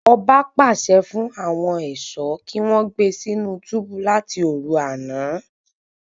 Ọba pàṣẹ fún àwọn ẹṣọ kí wọn gbé sínú túbú láti òru àna